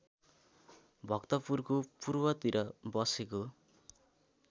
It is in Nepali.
भक्तपुरको पूर्वतिर बसेको